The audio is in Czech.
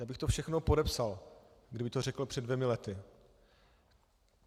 Já bych to všechno podepsal, kdyby to řekl před dvěma lety.